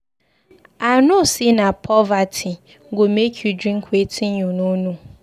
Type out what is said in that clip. I no say na poverty go make you drink wetin you no know.